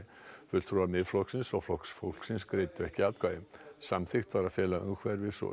fulltrúar Miðflokksins og Flokks fólksins greiddu ekki atkvæði samþykkt var að fela umhverfis og